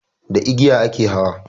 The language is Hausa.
Da igiya a ke hawa